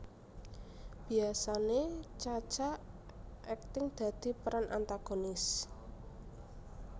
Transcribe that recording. Biyasane Cha Cha akting dadi peran antagonis